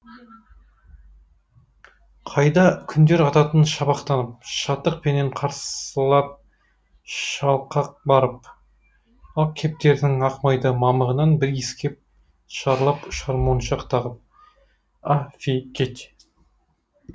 қайда күндер ататын шапақтанып шаттықпенен қарсылап шалқақбарып ақ кептердің ақ майда мамығынан бір иіскеп шарлап ұшар моншақтағып